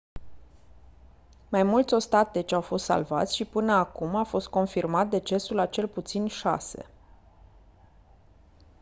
mai mulți ostateci au fost salvați și până acum a fost confirmat decesul a cel puțin șase